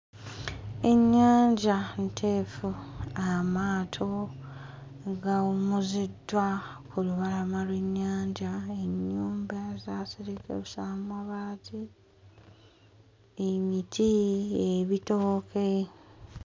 Ennyanja nteefu amaato mu gawummuziddwa ku lubalama lw'ennyanja ennyumba zaaserekesa amabaati emiti ebitooke.